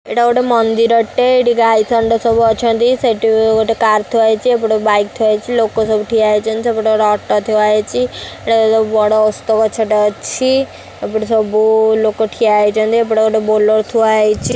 ଏଟା ଗୋଟେ ମନ୍ଦିରଟେ ଏଠି ଗାଈ ଷଣ୍ଢ ସବୁ ଅଛନ୍ତି ସେଠି ଗୋଟେ କାର ଥୁଆ ହେଇଛି ଏପଟେ ବାଇକ ଥୁଆ ହେଇଛି ଲୋକ ସବୁ ଠିଆ ହେଇଛନ୍ତି ସେପଟେ ଗୋଟେ ଅଟୋ ଥୁଆ ହେଇଛି ଗୋଟେ ବଡ ଓସ୍ତ ଗଛଟେ ଅଛି ଏପଟେ ସବୁ ଲୋକ ଠିଆ ହେଇଛନ୍ତି ଏପଟେ ଗୋଟେ ବୋଲେରୋ ଥୁଆ ହେଇଛି।